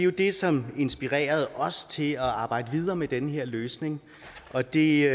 jo det som inspirerede os til at arbejde videre med den her løsning og det